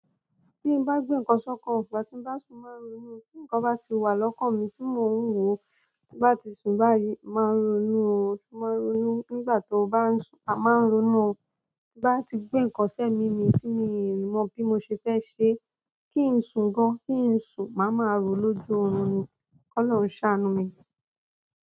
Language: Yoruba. Tí n bá gbé nǹkan ṣọ́kan, ígbà tí n bá sùn mo máa ń ronú o. Tí nǹkan bá ti wà lọ́kàn mi tí mò ń ro, tí n bá ti sùn báyìí máa ń ronú o, mo máa ń ronú nígbà tó bá ń sùn, mo máa ń ronú o. Ti n bá ti gbé nǹkan sé mi mí tí mi ò mọ̀ bí mo ṣe fẹ́ ṣe, kí n sùn gan, kí n sùn, màá ma ro lójú oorun ni. Kolọ́run ṣàánú mi.